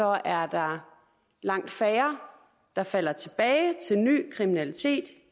er der langt færre der falder tilbage til ny kriminalitet